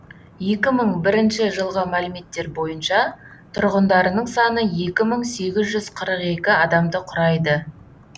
екі мың бірінші жылғы мәліметтер бойынша тұрғындарының саны екі мың сегіз жүз қырық екі адамды құрайды